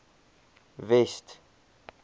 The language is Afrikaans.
west